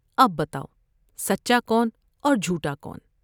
اب بتاؤ سچا کون اور مجھوٹا کون ؟